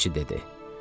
Dəmirçi dedi.